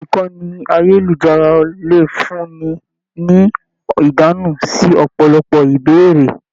Ìkànnì ayelujara le fún ní ní ìdáhùn sí ọpọlọpọ ìbéèrè.